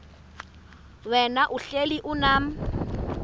wena uhlel unam